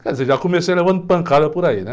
Quer dizer, já comecei levando pancada por aí, né?